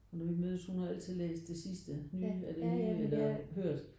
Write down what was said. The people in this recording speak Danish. Og når vi mødes hun har altid læst det sidste nye af det nye eller hørt